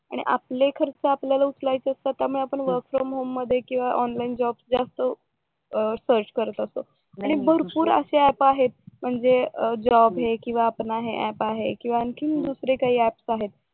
आणि आपले खर्च आपल्याला उचलायचेत तर मग आपण वर्क फ्रॉम होम मधनं किंवा ऑनलाईन जॉब जास्त सर्च करत असतो आणि म्हणजे जॉब हे किंवा आपण आता अप आहे किंवा आणखीन दुसरं काही अप्स आहेत